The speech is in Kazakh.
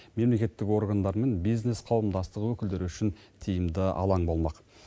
мемлекеттік органдар мен бизнес қауымдастық өкілдері үшін тиімді алаң болмақ